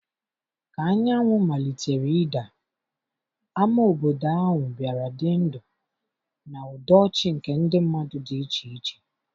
ka anyanwụ malitere ịda, ámá obodo ahụ bịara dị ndụ na ụda ọchị nke ndị mmadụ dị iche iche.